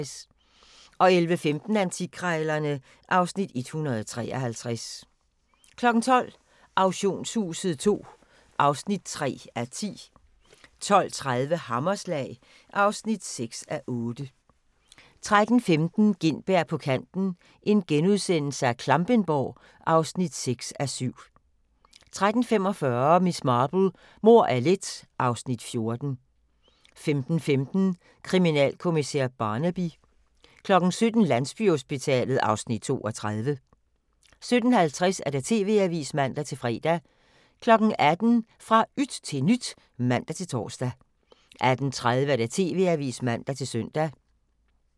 11:15: Antikkrejlerne (Afs. 153) 12:00: Auktionshuset II (3:10) 12:30: Hammerslag (6:8) 13:15: Gintberg på kanten - Klampenborg (6:7)* 13:45: Miss Marple: Mord er let (Afs. 14) 15:15: Kriminalkommissær Barnaby 17:00: Landsbyhospitalet (Afs. 32) 17:50: TV-avisen (man-fre) 18:00: Fra yt til nyt (man-tor) 18:30: TV-avisen (man-søn)